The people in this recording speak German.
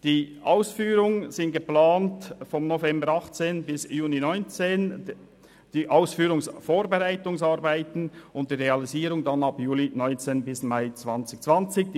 Die Ausführungsvorbereitung ist für den Zeitraum vom November 2018 bis Juni 2019 geplant, die Realisierung zwischen Juli 2019 und Mai 2020.